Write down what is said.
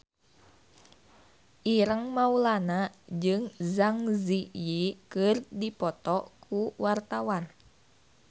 Ireng Maulana jeung Zang Zi Yi keur dipoto ku wartawan